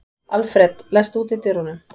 Alfred, læstu útidyrunum.